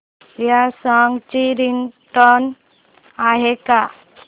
या सॉन्ग ची रिंगटोन आहे का